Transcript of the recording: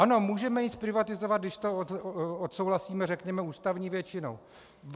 Ano, můžeme ji zprivatizovat, když to odsouhlasíme, řekněme, ústavní většinou.